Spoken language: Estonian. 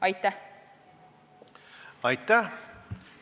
Aitäh!